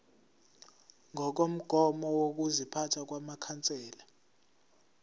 ngokomgomo wokuziphatha wamakhansela